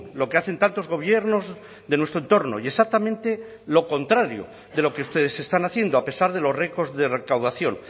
lo que hacen tantos gobiernos de nuestro entorno y exactamente lo contrario de lo que ustedes están haciendo a pesar de los récords de recaudación